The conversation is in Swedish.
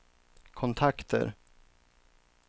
kontakter